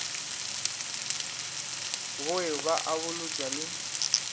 bowe ba a bolotšwa le